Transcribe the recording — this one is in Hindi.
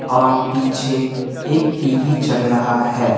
और पीछे एक टी_वी चल रहा है।